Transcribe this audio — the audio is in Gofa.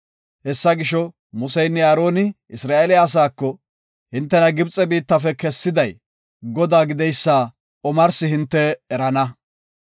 Hesaa gisho Museynne Aaroni Isra7eele asaako, “Hintena Gibxe biittafe kessiday Godaa gideysa omarsi hinte erana.